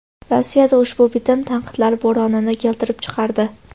Rossiyada ushbu bitim tanqidlar bo‘ronini keltirib chiqardi.